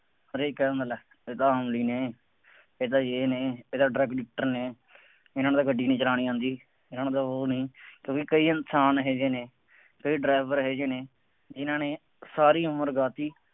ਹਰੇਕ ਕਹਿ ਦਿੰਦਾ ਇਹ ਤਾਂ ਅਮਲੀ ਨੇ, ਇਹ ਤਾਂ ਯੇਹ ਨੇ, ਇਹ ਤਾਂ drug addictor ਨੇ, ਇਨ੍ਹਾ ਨੂੰ ਤਾਂ ਗੱਡੀ ਨਹੀਂ ਚਲਾਉਣੀ ਆਉਂਦੀ, ਇਨ੍ਹਾ ਤਾਂ ਉਹ ਨੇ, ਕਿਉਂਕਿ ਕਈ ਇਨਸਾਨ ਇਹੋ ਜਿਹੇ ਨੇ, ਕਈ driver ਇਹੋ ਜਿਹੇ ਨੇ, ਜਿੰਨਾ ਨੇ ਸਾਰੀ ਉਮਰ ਗਾਹ ਦਿੱਤੀ